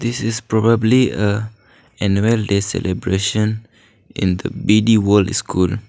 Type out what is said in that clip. this is probably uh annual day celebration in the B D world school.